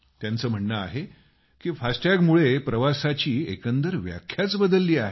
त्यांचं म्हणणं आहे की फास्टॅग मुळे प्रवासाची एकंदर व्याख्याच बदलली आहे